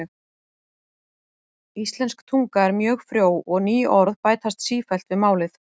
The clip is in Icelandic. Íslensk tunga er mjög frjó og ný orð bætast sífellt við málið.